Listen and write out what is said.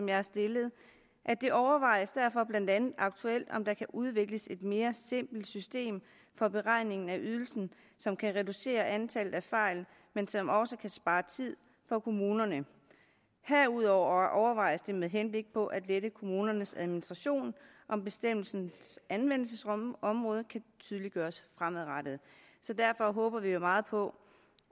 jeg har stillet det overvejes derfor blandt andet aktuelt om der kan udvikles et mere simpelt system for beregningen af ydelsen som kan reducere antallet af fejl men som også kan spare tid for kommunerne herudover overvejes det med henblik på at lette kommunernes administration om bestemmelsens anvendelsesområde kan tydeliggøres fremadrettet så derfor håber vi jo meget på